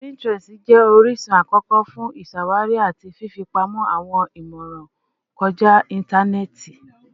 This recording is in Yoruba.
Pinterest jẹ orisun akọkọ fun iṣawari ati fifipamọ awọn imọran kọja intanẹẹti.